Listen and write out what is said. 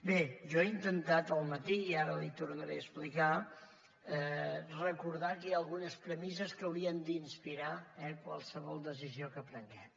bé jo ho he intentat al matí i ara li ho tornaré explicar recordar que hi ha algunes premisses que haurien d’inspirar eh qualsevol decisió que prenguem